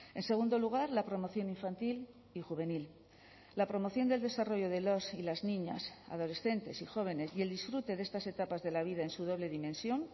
en segundo lugar la promoción infantil y juvenil la promoción del desarrollo de los y las niñas adolescentes y jóvenes y el disfrute de estas etapas de la vida en su doble dimensión